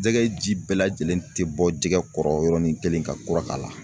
Jɛgɛ ji bɛɛ lajɛlen tɛ bɔ jɛgɛ kɔrɔ yɔrɔnin kelen ka kura k'a la.